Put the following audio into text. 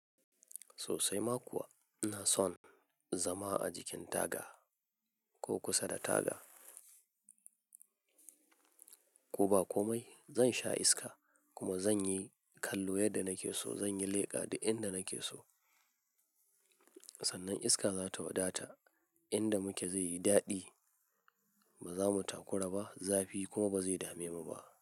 Sosai ma kuwa ina son zama a jikin taga ko kusa da taga. Ko ba komai zan sha iska kuma zan yi kallo yadda nake so, zan yi leƙa da inda nake so. Sannan iska za ta waɗata inda muke zai yi daɗi, ba za mu takura ba zafi kuma ba zai dame mu ba.